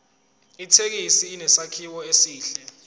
ithekisi inesakhiwo esihle